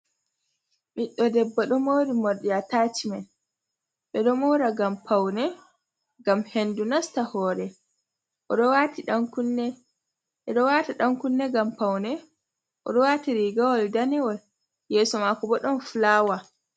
Ɓiɗɗo debbo ɗo mori morɗi attacmen. Ɓeɗo mora ngam paune, ngam hendu nasta hore. Oɗo waati ɗan-kunne, ɓeɗo wata ɗan-kunne ngam paune, oɗo wati rigawol danewol, yeeso maako bo ɗon fulawa.